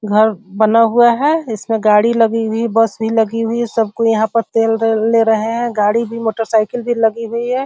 घर बना हुआ है इसमें गाड़ी लगी हुई बस भी लगी हुई सब कोई यहाँ पर तेल ले रहे हैं | गाड़ी भी मोटरसाइकिल भी लगी हुई है।